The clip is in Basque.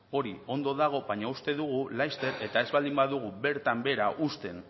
hori ondo dago baina uste dugu laster eta ez baldin badugu bertan behera uzten